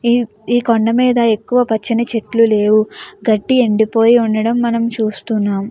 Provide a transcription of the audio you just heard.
ఈ ఈ కొండ మీద ఎక్కువ పచ్చని చెట్లు లేవు. గడ్డి ఎండిపోయి ఉండడం మనం చూస్తున్నాం.